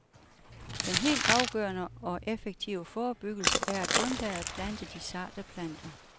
Den helt afgørende og effektive forebyggelse er at undlade at plante de sarte planter.